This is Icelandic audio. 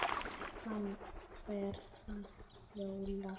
Hann fer að hlæja.